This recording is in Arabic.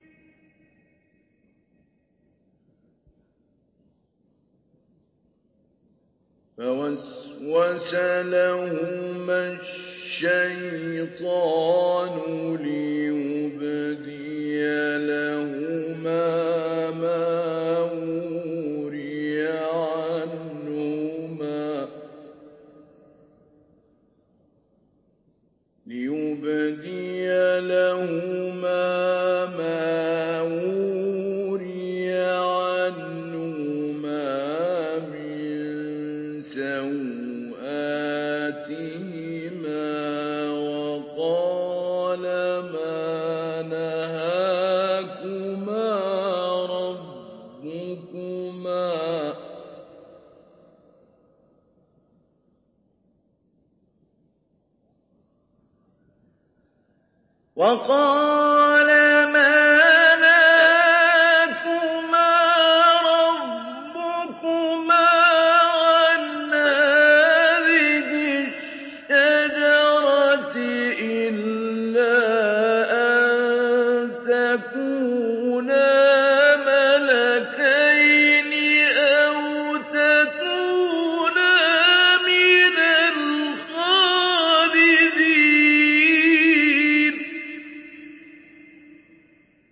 فَوَسْوَسَ لَهُمَا الشَّيْطَانُ لِيُبْدِيَ لَهُمَا مَا وُورِيَ عَنْهُمَا مِن سَوْآتِهِمَا وَقَالَ مَا نَهَاكُمَا رَبُّكُمَا عَنْ هَٰذِهِ الشَّجَرَةِ إِلَّا أَن تَكُونَا مَلَكَيْنِ أَوْ تَكُونَا مِنَ الْخَالِدِينَ